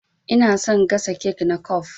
Ina son gasa kek na kwaf.